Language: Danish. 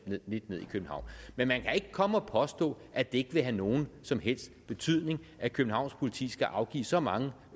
lidt ned i københavn men man kan ikke komme og påstå at det ikke vil have nogen som helst betydning at københavns politi skal afgive så mange